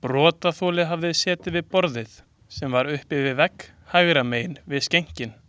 Brotaþoli hafi setið við borð, sem var upp við vegg hægra megin við skenkinn.